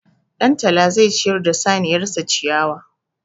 Ɗantala zai ciyar da saniyar sa ciyawa.